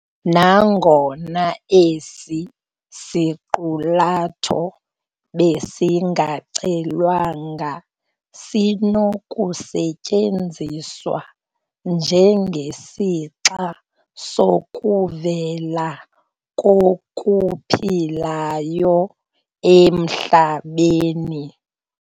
Nangona esi siqulatho besingacelwanga sinokusetyenziswa njengesixa sokuvela kokuphilayo emhlabeni.